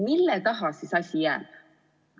Mille taha siis asi jääb?